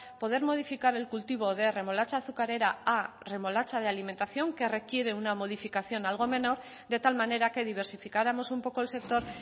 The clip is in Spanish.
poder modificar el cultivo de remolacha azucarera a remolacha de alimentación que requiere una modificación algo menor de tal manera que diversificáramos un poco el sector